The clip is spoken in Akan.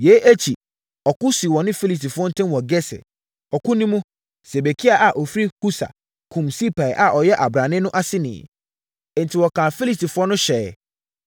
Yei akyi, ɔko sii wɔne Filistifoɔ ntam wɔ Geser. Ɔko no mu, Sibekai a ɔfiri Husa kumm Sipai a ɔyɛ ɔbrane no aseni. Enti wɔkaa Filistifoɔ no hyɛeɛ.